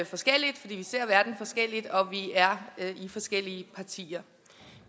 forskellige fordi vi ser verden forskelligt og vi er i forskellige partier